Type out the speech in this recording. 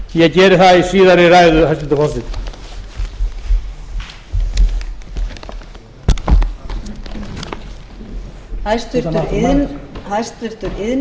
miðað fara yfir í ræðu minni en ég geri það í síðari ræðu hæstvirtur forseti